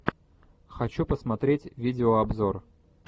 хочу посмотреть видеообзор